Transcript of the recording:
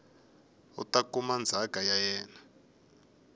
ta kuma ndzhaka ya yena